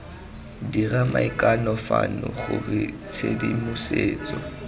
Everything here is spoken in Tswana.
dira maikano fano gore tshedimosetso